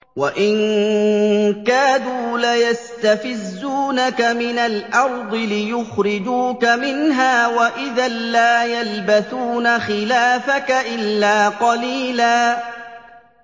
وَإِن كَادُوا لَيَسْتَفِزُّونَكَ مِنَ الْأَرْضِ لِيُخْرِجُوكَ مِنْهَا ۖ وَإِذًا لَّا يَلْبَثُونَ خِلَافَكَ إِلَّا قَلِيلًا